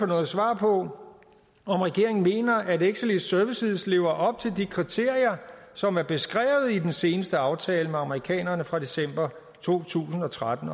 noget svar på om regeringen mener at exelis services as lever op til de kriterier som er beskrevet i den seneste aftale med amerikanerne fra december to tusind og tretten